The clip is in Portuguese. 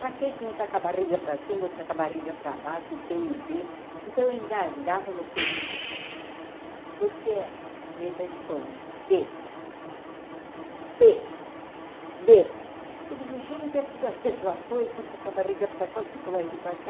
Pra que que um está com a barriga pra cima, o outro está a barriga pra baixo, o Pê e o Bê. Então, eu engasgava no Pê e no Bê. Porque, letra de forma, Dê, Pê, Bê. Eu digo, gente, é tudo a mesma coisa, um está com a barriga para cá o outro com a barriga para cá.